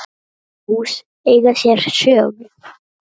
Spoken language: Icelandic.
Öll hús eiga sér sögu.